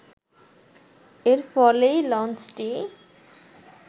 এর ফলেই লঞ্চটি